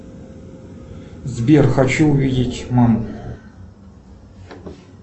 сбер хочу увидеть маму